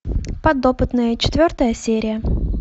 подопытные четвертая серия